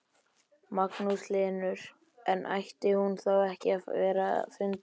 Magnús Hlynur: En ætti hún þá ekki að vera fundin?